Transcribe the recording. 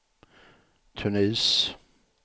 Tunis